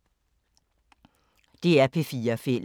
DR P4 Fælles